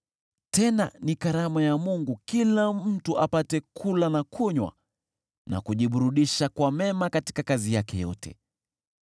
Tena ni karama ya Mungu kila mtu apate kula na kunywa na kujiburudisha kwa mema katika kazi yake yote.